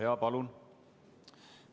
Jaa, palun!